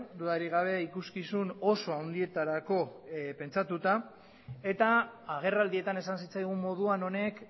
dudarik gabe ikuskizun oso handietarako pentsatuta eta agerraldietan esan zitzaigun moduan honek